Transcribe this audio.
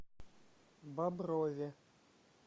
боброве